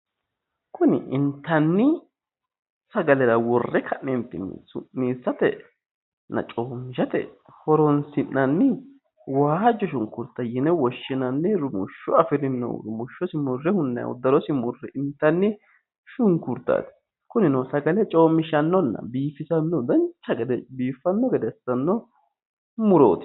Kuni intanni sagalera worre ka’neentinni su’niisatenna coommishate horonsi’nanni waajjo shunkurta yine woshshinanni rumushsho afirino. Rumushshosi murre hunnanni darosi murre intanni shunkurtaati. Kunino sagale coommishannoonna biifisanno dancha gede biifisanno murooti.